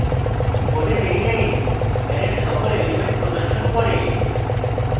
code এই line অ্যারের সকল elements প্রদর্শন করে